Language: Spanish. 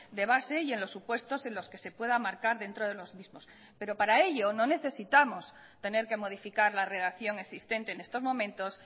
de base y en los supuestos en los que se pueda marcar dentro de los mismos pero para ello no necesitamos tener que modificar la redacción existente en estos momentos